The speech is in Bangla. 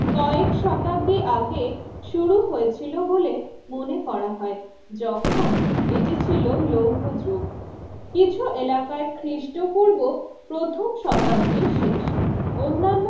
কয়েক শতাব্দীর আগে শুরু হয়েছিল বলে মনে করা হয় যখন এটি ছিল লৌহ যুগ কিছু এলাকায় খ্রিস্টপূর্ব প্রথম শতাব্দীর শেষ অন্যান্য